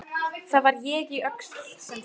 Þar var ég í Öxl sem þú.